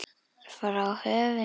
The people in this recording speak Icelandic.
Frá höfundi